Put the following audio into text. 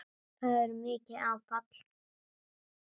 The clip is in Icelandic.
Það hafi verið mikið áfall.